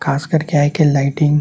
खास कर के आजकल लाइटिंग --